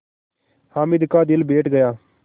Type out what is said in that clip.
हामिद का दिल बैठ गया